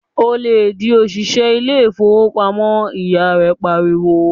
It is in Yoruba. "Ò lè di òṣìṣẹ́ ilé ìfowópamọ́!", ìyá rẹ pariwo.